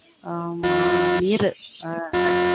அஹ் ஆமா நீரு அது